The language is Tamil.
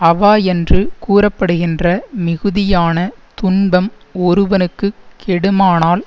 அவா என்று கூற படுகின்ற மிகுதியான துன்பம் ஒருவனுக்கு கெடுமானால்